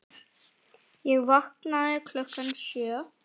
Ég vaknaði klukkan sjö.